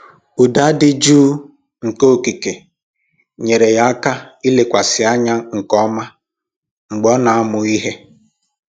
Ụda dị jụụ nke okike nyeere ya aka ilekwasị anya nke ọma mgbe ọ na-amụ ihe